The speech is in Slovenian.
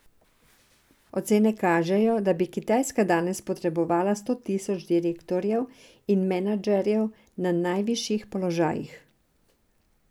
Ocene kažejo, da bi Kitajska danes potrebovala sto tisoč direktorjev in menedžerjev na najvišjih položajih.